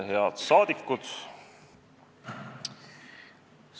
Head saadikud!